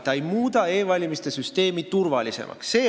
See ei muuda e-valimiste süsteemi turvalisemaks.